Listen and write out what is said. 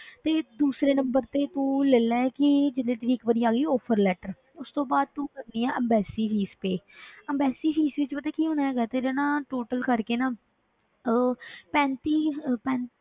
ਤੇ ਦੂਸਰੇ number ਤੇ ਤੂੰ ਲੈ ਲਾ ਕਿ ਜਿਵੇਂ ਕਿ ਇੱਕ ਵਾਰੀ ਆ ਗਈ offer letter ਉਸ ਤੋਂ ਬਾਅਦ ਤੂੰ ਕਰਨੀ ਹੈ embassy fees pay embassy fees ਵਿੱਚ ਪਤਾ ਕੀ ਹੋਣਾ ਹੈਗਾ ਹੈ, ਤੇਰੇ ਨਾ total ਕਰਕੇ ਨਾ ਉਹ ਪੈਂਤੀ ਅਹ ਪੈਂ~